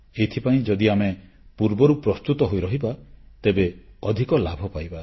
ଏଥିପାଇଁ ଯଦି ଆମେ ପୂର୍ବରୁ ପ୍ରସ୍ତୁତ ହୋଇ ରହିବା ତେବେ ଅଧିକ ଲାଭ ପାଇବା